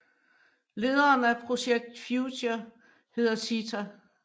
Lederen af Projekt Future hedder Sitha